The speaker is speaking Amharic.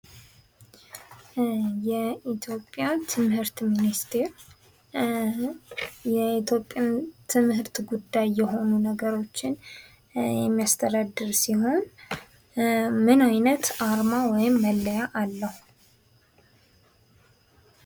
የኢትዮጵያ ትምህርት ሚኒስተር የኢትዮጵያ የትምህርት ጉዳይ የሆኑ ነገሮችን የሚያስተዳድር ሲሆን ምን አይነት አርማ ወይም መለያ አለው?